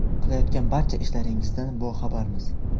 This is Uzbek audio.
Qilayotgan barcha ishlaringizdan boxabarmiz.